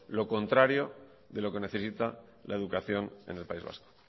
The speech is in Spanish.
lo contrario de lo que necesita la educación en el país vasco